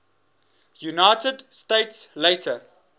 united states later